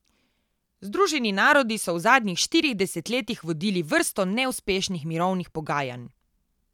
Združeni narodi so v zadnjih štirih desetletjih vodili vrsto neuspešnih mirovnih pogajanj.